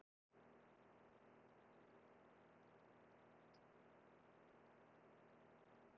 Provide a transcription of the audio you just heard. Sérstaklega skal bent á svar sama höfundar við spurningunni Hvað er hestur?